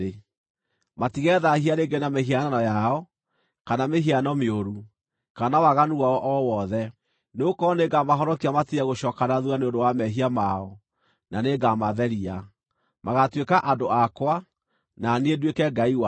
Matigethaahia rĩngĩ na mĩhianano yao, kana mĩhiano mĩũru, kana waganu wao o wothe, nĩgũkorwo nĩngamahonokia matige gũcooka na thuutha nĩ ũndũ wa mehia mao, na nĩngamatheria. Magaatuĩka andũ akwa, na niĩ nduĩke Ngai wao.